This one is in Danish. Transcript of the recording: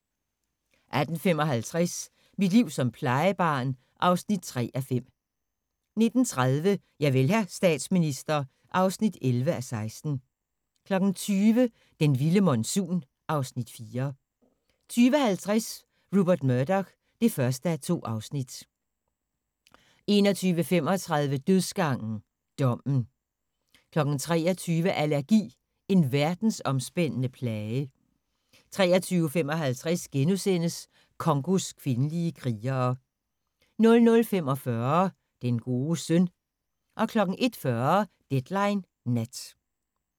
18:55: Mit liv som plejebarn (3:5) 19:30: Javel, hr. statsminister (11:16) 20:00: Den vilde monsun (Afs. 4) 20:50: Rupert Murdoch (1:2) 21:35: Dødsgangen – Dommen 23:00: Allergi – en verdensomspændende plage 23:55: Congos kvindelige krigere * 00:45: Den gode søn 01:40: Deadline Nat